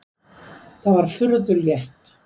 Það var furðu létt.